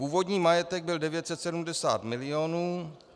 Původní majetek byl 970 milionů.